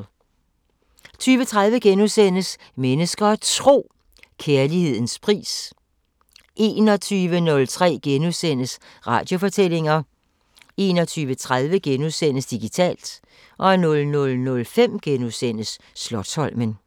20:30: Mennesker og Tro: Kærlighedens pris * 21:03: Radiofortællinger * 21:30: Digitalt * 00:05: Slotsholmen *